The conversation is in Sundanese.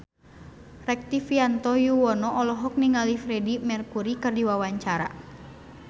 Rektivianto Yoewono olohok ningali Freedie Mercury keur diwawancara